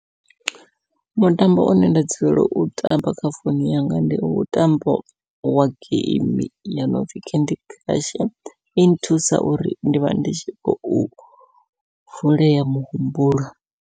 Mutambo une nda dzulela u tamba kha founu yanga, ndi mutambo wa geimi ya nopfhi candy crush i nthusa uri ndi vha ndi tshi khou vulea muhumbulo.